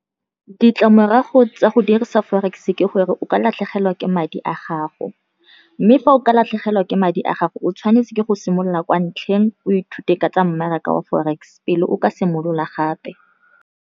Ditlamorago tsa go dirisa Forex-e ke gore o ka latlhegelwa ke madi a gago, mme fa o ka latlhegelwa ke madi a gago o tshwanetse ke go simolola kwa ntlheng, o ithute ka tsa mmaraka wa Forex, pele o ka simolola gape.